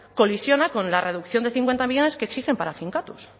colisiona con la reducción de cincuenta millónes que exigen para finkatuz